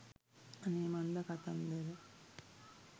අනේ මන්ද කතන්දර